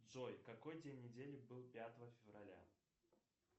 джой какой день недели был пятого февраля